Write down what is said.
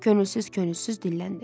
Könülsüz-könülsüz dilləndi.